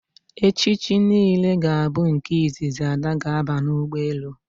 echichi niile ga bu nke izizi Ada ga aba ụgbọelu